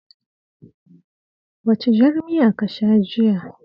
Wacce jar miya ka sha jiya?